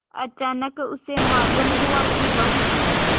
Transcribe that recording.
अचानक उसे मालूम हुआ कि बहुत